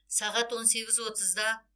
сағат он сегіз отызда